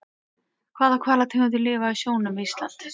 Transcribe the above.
Hvaða hvalategundir lifa í sjónum við Ísland?